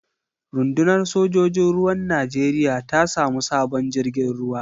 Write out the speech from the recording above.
Runɗunar sojojin ruwan Najeriya ta samu sabon jirgin ruwa.